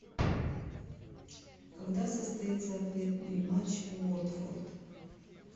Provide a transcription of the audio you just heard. когда состоится ответный матч уотфорд